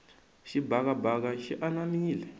xibakabaka xi anamile